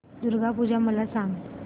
दुर्गा पूजा मला सांग